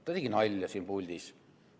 Ta tegi nalja siin puldis.